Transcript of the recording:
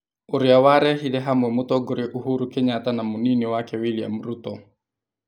Ũrĩa warehire hamwe mũtongoria Uhuru Kenyatta na mũnini wake William Ruto.